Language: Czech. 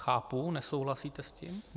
Chápu, nesouhlasíte s tím.